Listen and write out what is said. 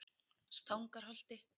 Stangarholti